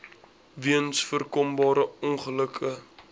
weens voorkombare ongelukke